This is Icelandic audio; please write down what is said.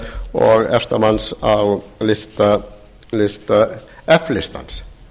og efsta manns á lista f listans